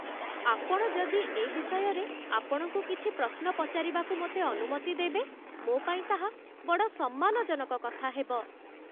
ଆପଣ ଯଦି ଏ ବିଷୟରେ ଆପଣଙ୍କୁ କିଛି ପ୍ରଶ୍ନ ପଚାରିବାକୁ ମୋତେ ଅନୁମତି ଦେବେ, ମୋ ପାଇଁ ତାହା ବଡ଼ ସମ୍ମାନଜନକ କଥା ହେବ